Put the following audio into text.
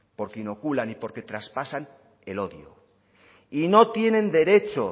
porque inoculan y traspasan el odio y no tienen derecho